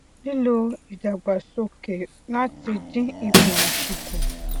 lílo ìdàgbàsókè láti dín ipò òṣì kù